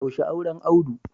Yaushe auren Audu?